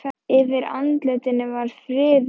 Yfir andlitinu var friður og mildi.